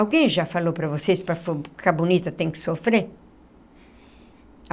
Alguém já falou para vocês que para ficar bonita tem que sofrer?